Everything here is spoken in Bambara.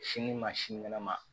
Sini ma sinikɛnɛ ma